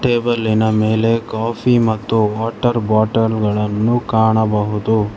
ಟೇಬಲ್ಲಿನ ಮೇಲೆ ಕಾಫಿ ಮತ್ತು water bottle ಗಳನ್ನು ಕಾಣಬಹುದು.